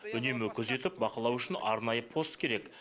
үнемі күзетіп бақылау үшін арнайы пост керек